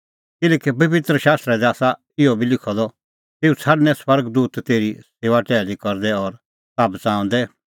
किल्हैकि पबित्र शास्त्रा दी आसा इहअ बी लिखअ द तेऊ छ़ाडणैं स्वर्ग दूत तेरी सेऊआ टैहली करदै और ताह बच़ाऊंदै